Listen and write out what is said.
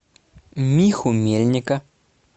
миху мельника